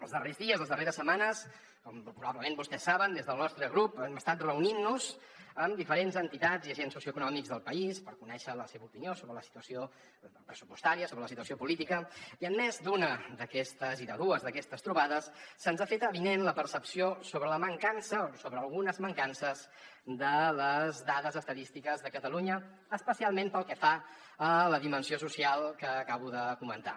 els darrers dies les darreres setmanes com probablement vostès saben des del nostre grup hem estat reunint nos amb diferents entitats i agents socioeconòmics del país per conèixer la seva opinió sobre la situació pressupostària sobre la situació política i en més d’una i de dues d’aquestes trobades se’ns ha fet avinent la percepció sobre la mancança o sobre algunes mancances de les dades estadístiques de catalunya especialment pel que fa a la dimensió social que acabo de comentar